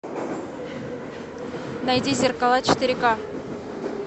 найди зеркала четыре ка